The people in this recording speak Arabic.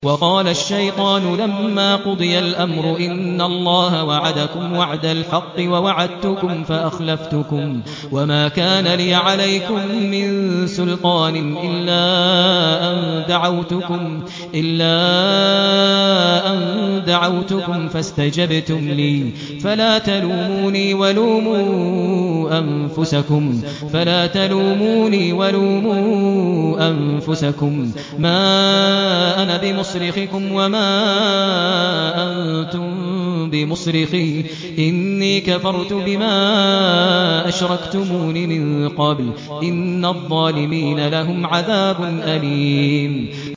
وَقَالَ الشَّيْطَانُ لَمَّا قُضِيَ الْأَمْرُ إِنَّ اللَّهَ وَعَدَكُمْ وَعْدَ الْحَقِّ وَوَعَدتُّكُمْ فَأَخْلَفْتُكُمْ ۖ وَمَا كَانَ لِيَ عَلَيْكُم مِّن سُلْطَانٍ إِلَّا أَن دَعَوْتُكُمْ فَاسْتَجَبْتُمْ لِي ۖ فَلَا تَلُومُونِي وَلُومُوا أَنفُسَكُم ۖ مَّا أَنَا بِمُصْرِخِكُمْ وَمَا أَنتُم بِمُصْرِخِيَّ ۖ إِنِّي كَفَرْتُ بِمَا أَشْرَكْتُمُونِ مِن قَبْلُ ۗ إِنَّ الظَّالِمِينَ لَهُمْ عَذَابٌ أَلِيمٌ